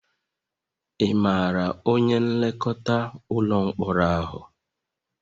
Ị maara onye nlekọta ụlọ mkpọrọ ahụ?